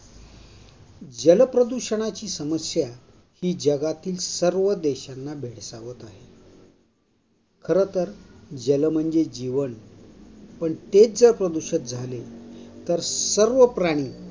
जल प्रदूषणाची समस्या ही जगातील सर्व देशांना भेडसावत आहे. खरंतर जल म्हणजे जीवन. पण तेच जर प्रदूषित झाले तर सर्व प्राणी